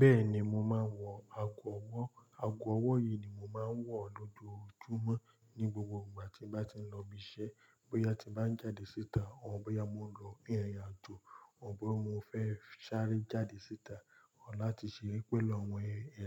Bẹ́ẹ̀ni, mo máa ń wọ ago ọwọ́. Ago ọwọ́ yìí ni mò ń wọ lójoojúmọ́ ní gbogbo ìgbà tí mo bá ti ń lọ ibi iṣẹ́, bóyá tí bá ń jáde síta, or bọ́yá mo lọ fún irin àjò, or boya mo fẹ́ sáré jáde síta, Or láti ṣere pẹ̀lú àwọn